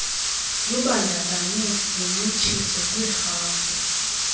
lubandakanye noncitshiso kwiirhafu